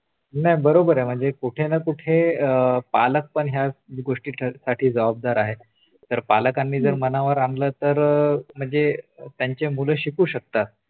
नाही बरोबरय म्हणजे कुठेना कुठे पालक पण या गोष्टीसाठी जबाबदार आहेत जर पालकांना मनावर आणल तर म्हणजे त्यांचे मुलं शिकू शकतात